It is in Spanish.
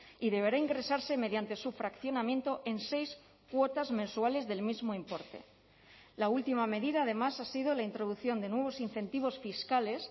y deberá ingresarse mediante su fraccionamiento en seis cuotas mensuales del mismo importe la última medida además ha sido la introducción de nuevos incentivos fiscales